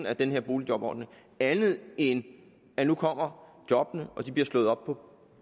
af den her boligjobordning andet end at nu kommer jobbene og at de bliver slået op